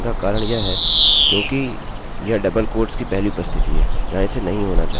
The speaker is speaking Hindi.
अब तकनीकी रूप से phpपीएचपी ने इसे नहीं लियाअतः यह यहाँ पर नहीं होना चाहिए